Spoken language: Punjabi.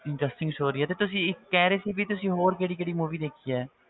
Interesting story ਆ ਤੇ ਤੁਸੀਂ ਕਹਿ ਰਹੇ ਸੀ ਵੀ ਤੁਸੀਂ ਹੋਰ ਕਿਹੜੀ ਕਿਹੜੀ movie ਦੇਖੀ ਹੈ